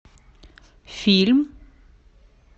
фильм